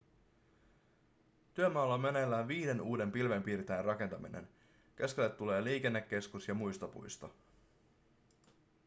työmaalla on meneillään viiden uuden pilvenpiirtäjän rakentaminen keskelle tulee liikennekeskus ja muistopuisto